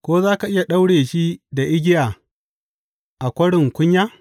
Ko za ka iya daure shi da igiya a kwarin kunya?